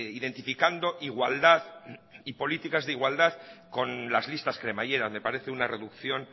identificando igualdad y políticas de igualdad con las listas cremallera me parece una reducción